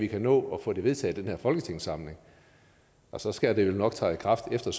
vi kan nå at få det vedtaget i den her folketingssamling og så skal det jo nok træde i kraft efter